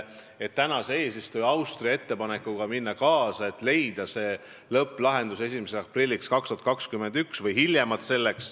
Et praeguse eesistuja Austria ettepanekuga kaasa minna, tuleb lõpplahendus leida hiljemalt 1. aprilliks 2021.